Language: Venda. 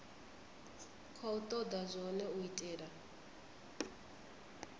khou toda zwone u itela